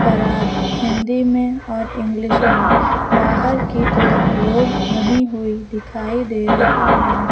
पराग हिंदी में और इंग्लिश में बाहर की ओर रोड बनी हुई दिखाई दे रही है।